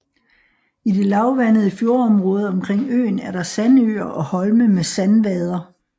I det lavvandendede fjordområde omkring øen er der sandøer og holme med sandvader